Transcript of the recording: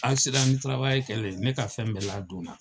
kɛlen ne ka fɛn bɛɛ ladonna